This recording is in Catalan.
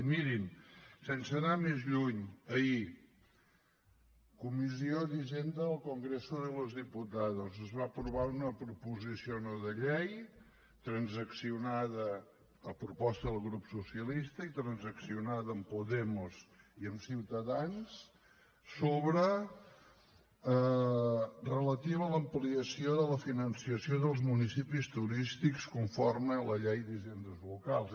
i mirin sense anar més lluny ahir comissió d’hisenda del congreso de los diputados es va aprovar una proposició no de llei a proposta del grup socialista i transaccionada amb podemos i amb ciutadans relativa a l’ampliació del finançament dels municipis turístics conforme a la llei d’hisendes locals